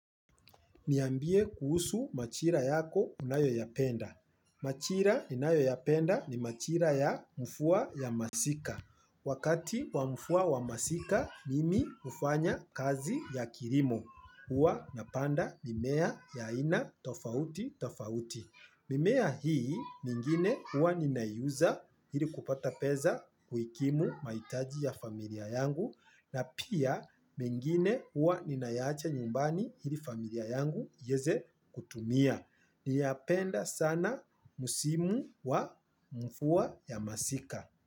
Niambie kuhusu majira yako unayo ya penda. Majira ninayo yapenda ni majira ya mvua ya masika. Wakati wa mvua wa masika mimi hufanya kazi ya kilimo. Huwa napanda mimea ya aina tofauti tofauti. Mimea hii mingine huwa nina uza ili kupata pesa kuikimu mahitaji ya familia yangu na pia mengine huwa ninaacha nyumbani ili familia yangu ieze kutumia. Napenda sana musimu wa mvua ya masika.